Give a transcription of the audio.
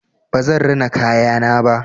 Ba zan rina kayana ba.